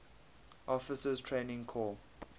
officers training corps